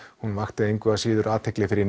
hún vakti engu að síður athygli fyrir